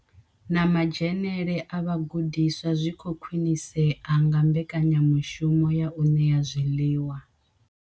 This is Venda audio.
Na madzhenele a vhagudiswa zwi khou khwinisea nga mbekanyamushumo ya u ṋea zwiḽiwa.